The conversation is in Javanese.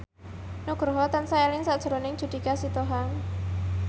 Nugroho tansah eling sakjroning Judika Sitohang